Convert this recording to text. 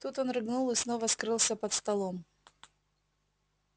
тут он рыгнул и снова скрылся под столом